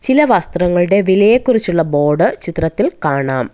എല്ലാ വസ്ത്രങ്ങളുടെ വിലയെ കുറിച്ചുള്ള ബോർഡ് ചിത്രത്തിൽ കാണാം.